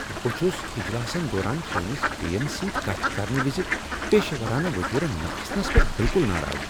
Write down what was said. بہٕ چھُس اجلاسن دوران چٲنِس بیین سۭتۍ كتھ كرنہٕ وِزِ پیشورانہ وتیرٕ نہ آسنس پیٹھ بِلكُل ناراض۔